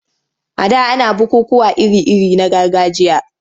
A da ana bukukkuwa iri-iri na gargajiya.